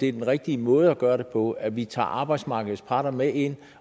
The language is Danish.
er den rigtige måde at gøre det på altså at vi tager arbejdsmarkeds parter med ind